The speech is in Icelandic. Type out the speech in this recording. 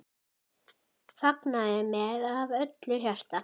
Fagnaði með af öllu hjarta.